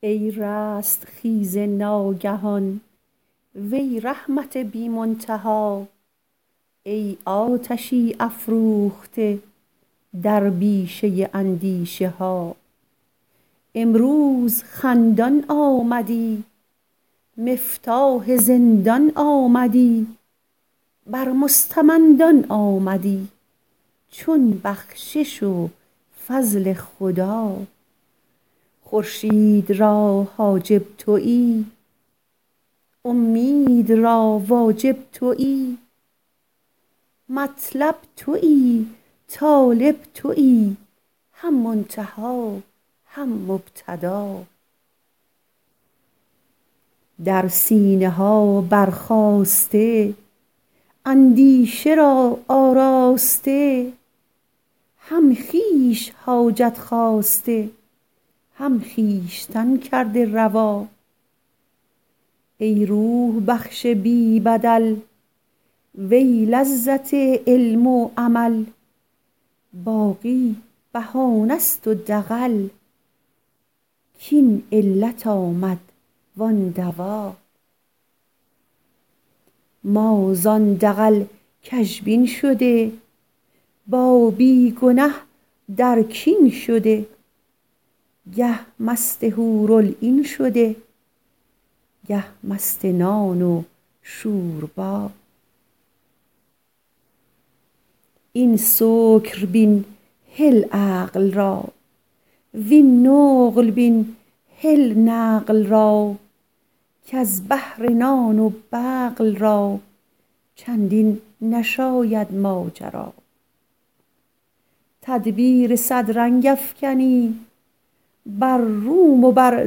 ای رستخیز ناگهان وی رحمت بی منتها ای آتشی افروخته در بیشه اندیشه ها امروز خندان آمدی مفتاح زندان آمدی بر مستمندان آمدی چون بخشش و فضل خدا خورشید را حاجب تویی اومید را واجب تویی مطلب تویی طالب تویی هم منتها هم مبتدا در سینه ها برخاسته اندیشه را آراسته هم خویش حاجت خواسته هم خویشتن کرده روا ای روح بخش بی بدل وی لذت علم و عمل باقی بهانه ست و دغل کاین علت آمد وان دوا ما زان دغل کژبین شده با بی گنه در کین شده گه مست حورالعین شده گه مست نان و شوربا این سکر بین هل عقل را وین نقل بین هل نقل را کز بهر نان و بقل را چندین نشاید ماجرا تدبیر صد رنگ افکنی بر روم و بر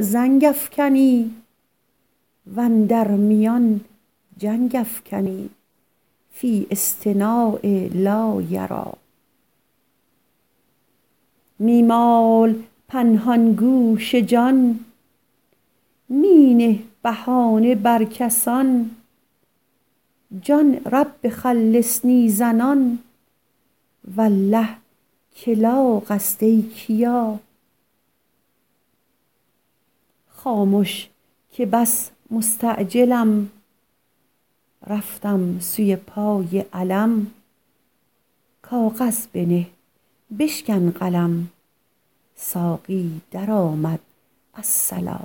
زنگ افکنی و اندر میان جنگ افکنی فی اصطناع لا یری می مال پنهان گوش جان می نه بهانه بر کسان جان رب خلصنی زنان والله که لاغ است ای کیا خامش که بس مستعجلم رفتم سوی پای علم کاغذ بنه بشکن قلم ساقی درآمد الصلا